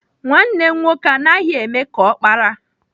Nwanne m nwoke anaghị eme ka ọkpara.